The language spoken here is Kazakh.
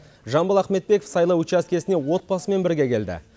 жамбыл ахметбеков сайлау учаскесіне отбасымен бірге келді